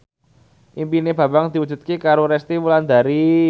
impine Bambang diwujudke karo Resty Wulandari